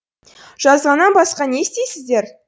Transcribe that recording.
жазғаннан басқа не істейсіздер